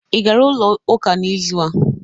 Ị gara ụlọ ụka n'izụ a?